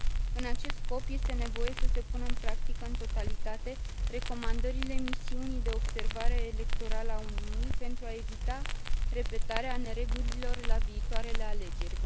În acest scop, este nevoie să se pună în practică în totalitate recomandările misiunii de observare electorală a Uniunii, pentru a evita repetarea neregulilor la viitoarele alegeri.